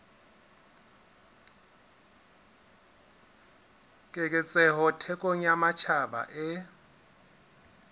keketseho thekong ya matjhaba e